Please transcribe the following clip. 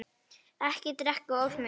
Ekki drekka of mikið.